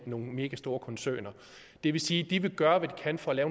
nogle megastore koncerner det vil sige at de vil gøre hvad de kan for at